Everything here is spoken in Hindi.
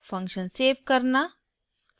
* फंक्शन सेव करना